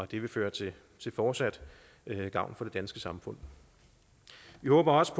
det vil føre til fortsat gavn for det danske samfund vi håber også